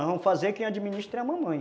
Nós vamos fazer quem administra é a mamãe.